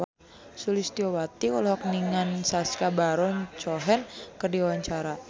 Sulistyowati olohok ningali Sacha Baron Cohen keur diwawancara